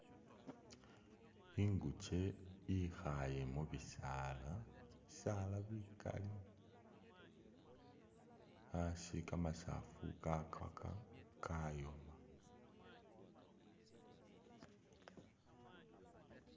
Ingukye ihaaye mubisaala, bisaala bikali, asi kamasafu kakwaka kayoma